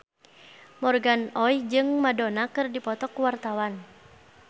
Morgan Oey jeung Madonna keur dipoto ku wartawan